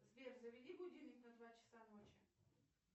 сбер заведи будильник на два часа ночи